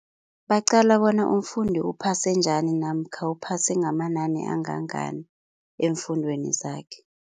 Baqala bona umfundi uphase njani namkha uphase ngamanani angangani eemfundweni zakhe.